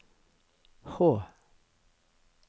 H